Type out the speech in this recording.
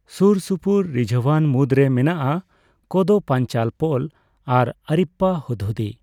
ᱥᱩᱨᱥᱩᱯᱩᱨ ᱨᱤᱡᱷᱟᱹᱣᱟᱱ ᱢᱩᱫᱽᱨᱮ ᱢᱮᱱᱟᱜᱼᱟ ᱠᱚᱫᱚᱯᱯᱟᱧᱪᱟᱞ ᱯᱳᱞ ᱟᱨ ᱟᱨᱤᱯᱯᱟᱨᱟ ᱦᱩᱫᱽᱦᱩᱫᱤ ᱾